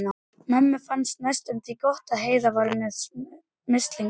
Mömmu fannst næstum því gott að Heiða var með mislinga.